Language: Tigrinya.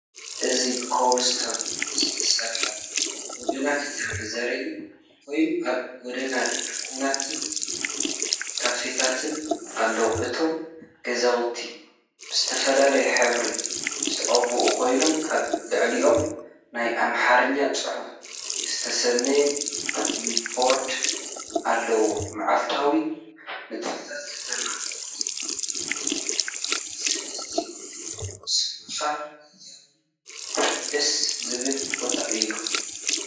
እዚ ብኮብልስቶን ዝተሰርሐ ጎደና ከተማ ዘርኢ ኮይኑ ኣብ ጎድኑ ድኳናትን ካፈታትን ኣለዎ። እቶም ገዛውቲ ብዝተፈላለየ ሕብሪ ዝተቐብኡ ኮይኖም ኣብ ልዕሊኦም ናይ ኣምሓርኛ ፅሑፍ ዝተሰነየ ቢልቦርድ ኣለዎም። መዓልታዊ ንጥፈታት ከተማ፡ፍሩይ ምሕዝነትን ዝስምዓካ ህያውን ደስ ዘብልን ቦታ እዩ።